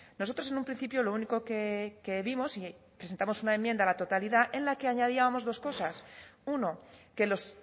nosotros en un principio lo único que vimos y presentamos una enmienda a la totalidad en la que añadíamos dos cosas uno que los